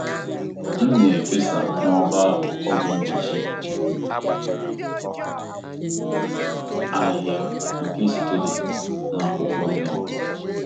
M na-efesa n'ọba ahụ ọgwụ mgbochi ahịhịa nke sitere na akwụkwọ neem.